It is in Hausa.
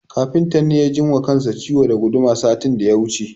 Kafintan ne ya ji wa kansa ciwo da guduma satin da ya wuce.